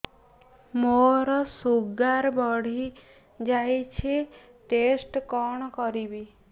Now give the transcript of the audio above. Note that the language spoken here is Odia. ମୋର ଶୁଗାର ବଢିଯାଇଛି ଟେଷ୍ଟ କଣ କରିବି